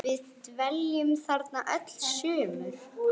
Við dveljum þarna öll sumur.